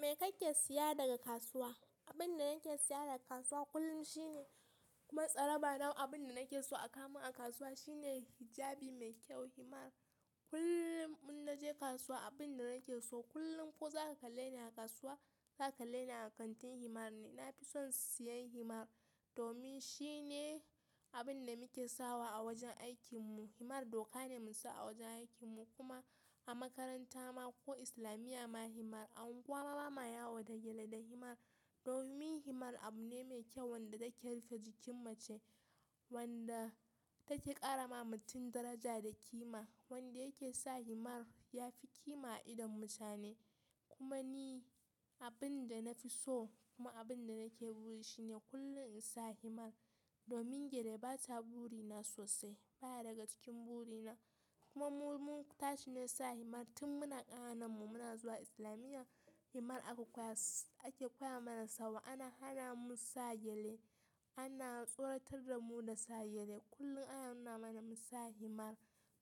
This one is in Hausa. Me kake siya daga kasuwa? Abin da nake siya daga kasuwa kullum shine, kuma tsaraba na abin da nake so a kamu a kasuwa shine hijabi mai kyau, himar. Kullum in naje kasuwa abin da nake so kullum ko za ka kalle ni a kasuwa, za ka kalle ni a kantin himar ne. Na fi son siyan himar domin shine abin da muke sawa a wajen aikinmu. Himar doka ne musu a wajen aikin mu kuma a makaranta ma ko islamiya ma himar, a unguwar mu ma yawo da gyale da himar. Domin himar abune mai kyau wanda take rufe jikin mace, wanda take karama mutum daraja da kima, wanda yake sa himar ya fi kima a idon mutane. Kuma ni abin da na fi so kuma abin da nake buri shine kullum in sa himar. Domin gyale ba ta burina sosai, baya daga cikin burina. Kuma mu mun tashi ne sa himar tun muna ƙananan mu muna zuwa islamiya himar ake koya mana sawa. Ana hana mu sa gyale, ana tsoratar da mu da sa gyale. Kullum ana nuna mana mu sa himar.